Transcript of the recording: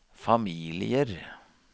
familier